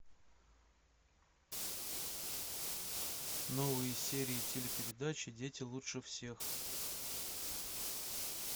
новые серии телепередачи дети лучше всех